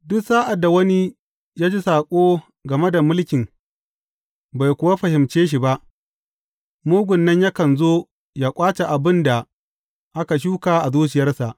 Duk sa’ad da wani ya ji saƙo game da mulkin bai kuwa fahimce shi ba, mugun nan yakan zo yă ƙwace abin da aka shuka a zuciyarsa.